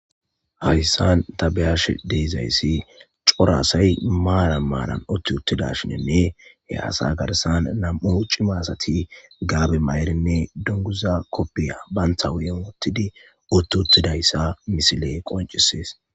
hayssan tabeyash deezayssi corasay maalan maanan otti uttida shinenne he asa garsan nam7u cima asati gaabe ma7erinne dunguza koppiya bantha wuyen wottidi utti uttidayssa misile qoncisees